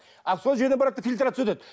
ал сол жерден барады да фильтрация өтеді